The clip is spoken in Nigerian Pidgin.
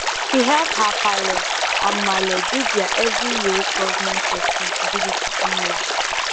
she help her palle and malle do their every year government responsibility online